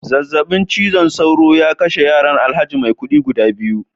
zazzabin cizon sauro ya kashe yaran alhaji maikudi guda biyu